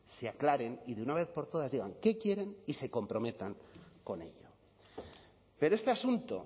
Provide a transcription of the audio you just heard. se aclaren y de una vez por todas digan qué quieren y se comprometan con ello pero este asunto